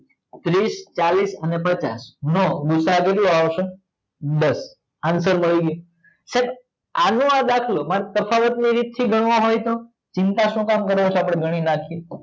ત્રીસ ચાલીસ અને પચાસ નો ગૂસાઅ કેટલો આવસે દસ આન્સર આવી ગયો તો આનો આ દાખલો સાહેબ તફાવત ની રીત થી ગણવા હોય તો ચિંતા શું કામ કરો છો આપડે ગણી નાખીએ